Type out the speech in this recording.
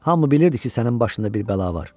Hamı bilirdi ki, sənin başında bir bəla var.